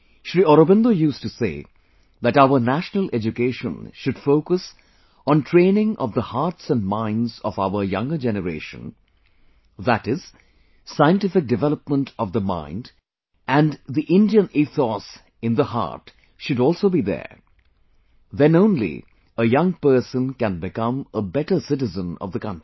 Sri Aurobindo used to say that our national education should focus on training of the hearts and minds of our younger generation, that is, scientific development of the mind and Indian ethos residein the heart should also be there, then only a young person can become a better citizen of the country